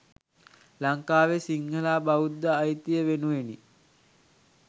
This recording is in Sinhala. ලංකාවේ සිංහල හා බෞද්ධ අයිතිය වෙනුවෙනි.